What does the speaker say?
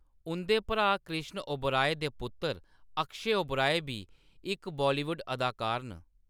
उंʼदे भ्राऽ कृष्ण ओबराय दे पुत्तर अक्षय ओबराय बी इक बॉलीवुड अदाकार न।